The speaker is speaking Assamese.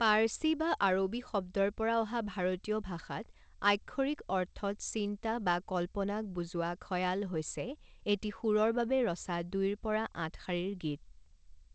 পাৰ্চী বা আৰবী শব্দৰ পৰা অহা ভাৰতীয় ভাষাত আক্ষৰিক অৰ্থত চিন্তা বা কল্পনাক বুজোৱা খয়াল হৈছে এটি সুৰৰ বাবে ৰচা দুইৰ পৰা আঠ শাৰীৰ গীত।